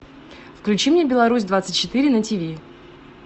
включи мне беларусь двадцать четыре на тв